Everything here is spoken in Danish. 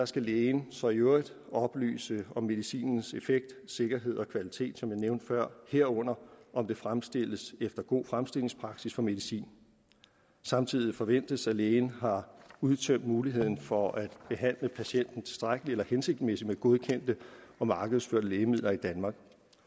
skal lægen så i øvrigt oplyse om medicinens effekt sikkerhed og kvalitet som jeg nævnte før herunder om den fremstilles efter god fremstillingspraksis for medicin samtidig forventes det at lægen har udtømt muligheden for at behandle patienten tilstrækkeligt eller hensigtsmæssigt med godkendte og markedsførte lægemidler i danmark